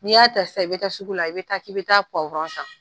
N'i y'a ta , i bɛ taa sugu la, i bɛ taa k'i bɛ taa san.